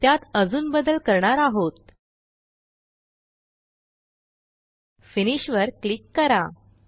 त्यात अजून बदल करणार आहोत फिनिश वर क्लिक करा